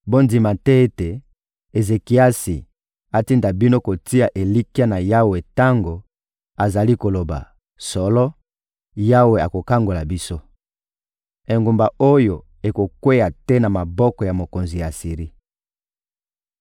Bondima te ete Ezekiasi atinda bino kotia elikya na Yawe tango azali koloba: ‹Solo, Yawe akokangola biso. Engumba oyo ekokweya te na maboko ya mokonzi ya Asiri.›